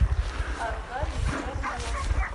аркадий джамилов